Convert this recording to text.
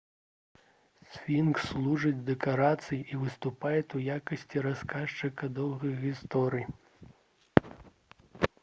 сфінкс служыць дэкарацыяй і выступае ў якасці расказчыка доўгай гісторыі